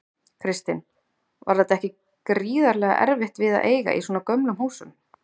Kristinn: Var þetta ekki gríðarlega erfitt við að eiga í svona gömlum húsum?